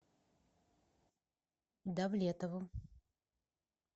давлетову